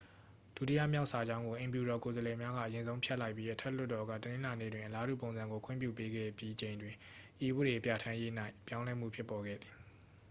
ဒုတိယမြောက် စာကြောင်းကို အိမ်ဖြူတော် ကိုယ်စားလှယ်များက အရင်ဆုံး ဖျက်လိုက်ပြီး အထက်လွှတ်တော်က တနင်္လာနေ့တွင် အလားတူပုံစံကို ခွင့်ပြု ပေးခဲ့ပြီးချိန်တွင် ဤဥပဒေပြဠာန်းရေး၌ ပြောင်းလဲမှုဖြစ်ပေါ်ခဲ့သည်